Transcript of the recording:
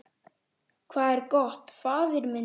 Hvað er gott, faðir minn?